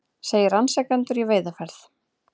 Segir rannsakendur í veiðiferð